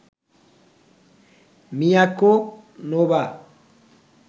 Miyako, Nova